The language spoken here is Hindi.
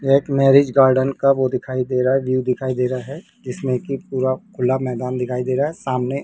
एक मैरिज गार्डन का वो दिखाई दे रहा है व्यू दिखाई दे रहा है जिसमें की पूरा खुला मैदान दिखाई दे रहा है सामने --